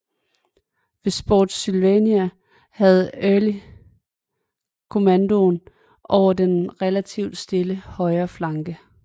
Ved Spotsylvania havde Early kommandoen over den relativt stille højre flanke